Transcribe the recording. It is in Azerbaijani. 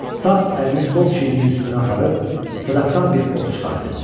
Sağ əlini sol çiyninin üstünə aparıb sadaqdan bir ox çıxardı.